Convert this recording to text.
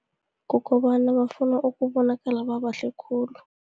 Kukobana bafuna ukubonakala babahle khulu.